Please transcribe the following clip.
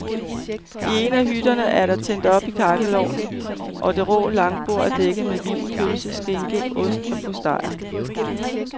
I en af hytterne er der tændt op i kakkelovnen og det rå langbord er dækket med vin, pølse, skinke, ost og postejer.